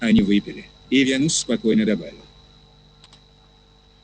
они выпили и венус спокойно добавил